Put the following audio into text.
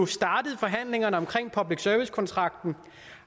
startede forhandlingerne om public service kontrakten